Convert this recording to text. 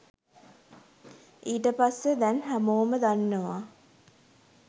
ඊට පස්සෙ දැන් හැමෝම දන්නව